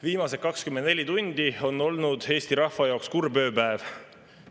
Viimased 24 tundi on olnud Eesti rahva jaoks kurb ööpäev.